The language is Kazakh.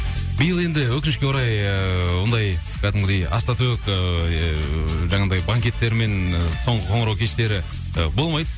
биыл енді өкінішке орай ыыы ондай кәдімгідей ас та төк ыыы жаңағындай банкеттермен соңғы қоңырау кештері ы болмайды